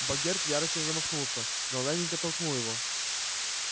богерт в ярости замахнулся но лэннинг оттолкнул его